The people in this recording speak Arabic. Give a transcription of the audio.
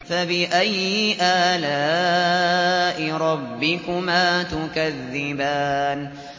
فَبِأَيِّ آلَاءِ رَبِّكُمَا تُكَذِّبَانِ